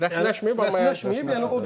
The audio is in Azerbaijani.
Rəsmiləşməyib, yəni o da bir.